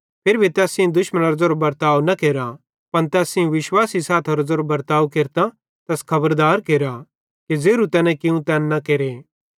फिरी भी तैस सेइं दुश्मनेरो ज़ेरो बर्ताव न केरा पन तैस सेइं विश्वासी सैथेरो ज़ेरो बर्ताव केरतां तैस खबरदार केरा कि ज़ेरू तैने कियूं तैन न केरे